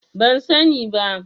Ban sani ba.